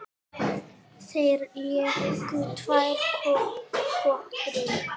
Þeir léku tvær kotrur.